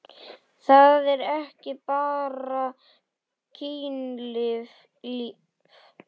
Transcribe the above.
Það er ekki bara kynlíf.